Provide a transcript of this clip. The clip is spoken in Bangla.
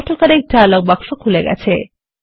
অটো কারেক্ট ডায়লগ বাক্স খুলে গেছে